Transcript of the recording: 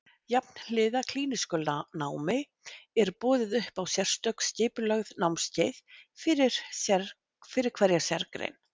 Jafnhliða klínísku námi er boðið upp á sérstök skipulögð námskeið fyrir hverja sérgrein.